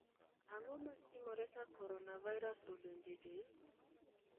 Ang'o matimore ka Coronavirus odonjo e del?